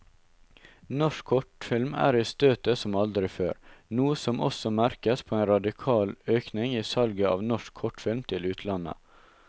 Norsk kortfilm er i støtet som aldri før, noe som også merkes på en radikal økning i salget av norsk kortfilm til utlandet.